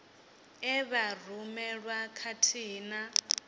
e vha rumelwa khathihi na